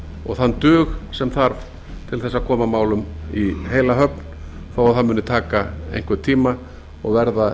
og þann dug semþarf til þess að koma málum í heila höfn þó að það muni taka einhvern tíma og verða